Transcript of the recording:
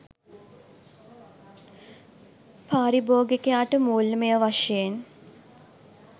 පාරිභෝගිකයාට මුල්‍යමය වශයෙන්